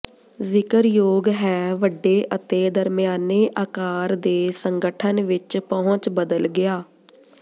ਜ਼ਿਕਰਯੋਗ ਹੈ ਵੱਡੇ ਅਤੇ ਦਰਮਿਆਨੇ ਆਕਾਰ ਦੇ ਸੰਗਠਨ ਵਿਚ ਪਹੁੰਚ ਬਦਲ ਗਿਆ